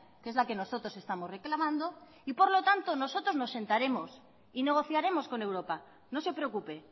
que es la que nosotros estamos reclamando y por lo tanto nosotros nos sentaremos y negociaremos con europa no se preocupe